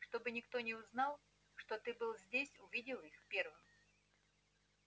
чтобы никто не узнал что ты был здесь увидел их первым